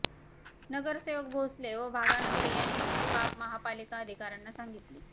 नगरसेवक भोसले व भागानगरे यांनी ही बाब महापालिका अधिकाऱ्यांना सांगितली